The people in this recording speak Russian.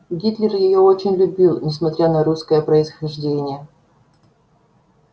гитлер её очень любил несмотря на русское происхождение